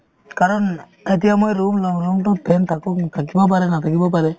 কাৰণ এতিয়া মই room লম room তোত fan থাকক থাকিবও পাৰে নাথাকিবও পাৰে